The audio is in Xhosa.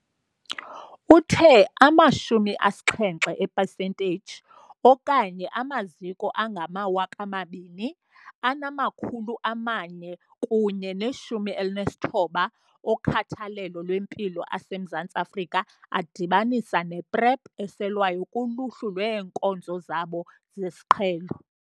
Uthe ama-70 epesenteyiji, okanye amaziko angama-2 419 okhathalelo lwempilo aseMzantsi Afrika adibanisa ne-PrEP eselwayo kuluhlu lweenkonzo zabo zesiqhelo.